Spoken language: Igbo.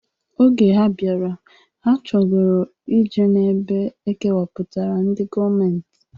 Oge ha bịara, ha chogoro ije n'ebe e kewapụtara ndị gọọmentị.